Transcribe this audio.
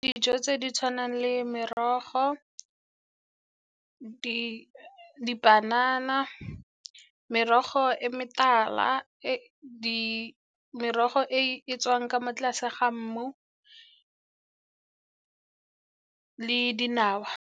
Dijo tse di tshwanang le merogo, dipanana, merogo e metala, merogo e tswang ka mo tlase ga mmu le dinawa.